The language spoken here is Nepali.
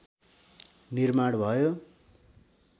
निर्माण भयो